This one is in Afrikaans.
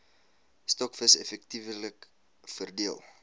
stokvis effektiewelik verdeel